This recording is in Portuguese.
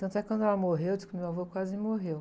Tanto é que quando ela morreu, eu disse que meu avô quase morreu.